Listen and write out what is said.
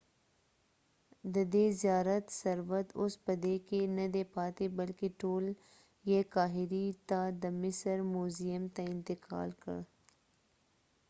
ددې زیارت ثروت اوس په دې کې نه دی پاتې بلکې ټول یې قاهرې ته د مصر موزیم ته انتقال کړل